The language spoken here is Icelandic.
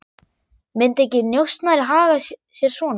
Myndi ekki njósnari haga sér svona?